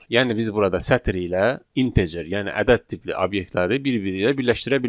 Yəni biz burada sətr ilə integer, yəni ədəd tipli obyektləri bir-biri ilə birləşdirə bilmərik.